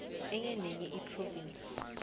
enye nenye iphrovinsi